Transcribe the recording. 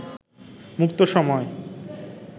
মুক্ত সময়